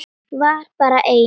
Var bara einn?